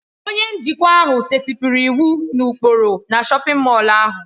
Onye njikwa ahụ setịpụrụ iwu na ụkpụrụ na shọpin Mọll ahụ.